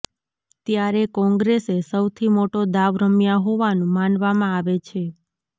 ત્યારે કોંગ્રેસે સૌથી મોટો દાવ રમ્યા હોવાનું માનવામાં આવે છે